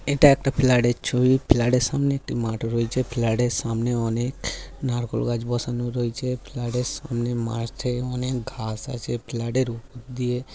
এটা একটা ফ্ল্যাডের ছবি। ফ্ল্যাডের সামনে একটি মাঠ রয়েছে। ফ্ল্যাডের সামনে অনেক নারকোল গাছ বসানো রয়েছে। ফ্ল্যাডের সামনে মাঠে অনেক ঘাস আছে। ফ্ল্যাডের উপর দিয়ে --